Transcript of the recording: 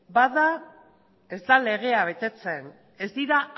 bat da ez dela legea betetzen ez dira